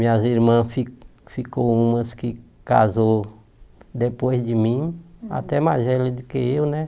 Minhas irmãs, fi ficou umas que casou depois de mim, até mais velha do que eu, né?